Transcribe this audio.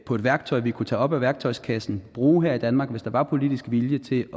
på et værktøj vi kunne tage op af værktøjskassen bruge her i danmark hvis der var politisk vilje til